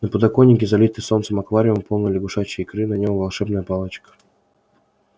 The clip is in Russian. на подоконнике залитый солнцем аквариум полный лягушачьей икры на нём волшебная палочка